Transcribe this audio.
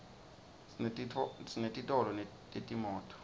sinetitolo tetimoto